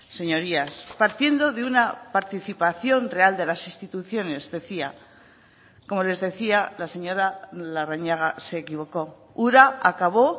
señorías partiendo de una participación real de las instituciones decía como les decía la señora larrañaga se equivocó ura acabó